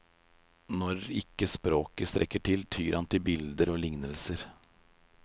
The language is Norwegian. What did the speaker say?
Når ikke språket strekker til, tyr han til bilder og lignelser.